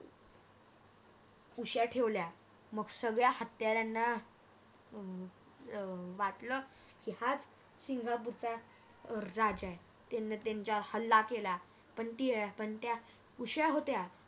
उशा ठेवल्या मग सगळ्या हत्याराना अं वाटल की हाच सिंगापुरचा राजा आहे त्याने त्यांच्यावर हल्ला केला पण अं त्या उशा होत्या